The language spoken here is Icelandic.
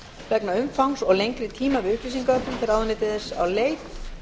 vegna umfangs og lengri tíma við upplýsingaöflun fer ráðuneytið þess á leit